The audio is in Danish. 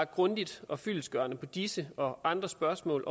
grundigt og fyldestgørende på disse og andre spørgsmål